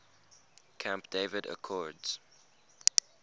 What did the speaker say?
camp david accords